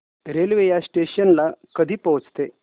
railway या station ला कधी पोहचते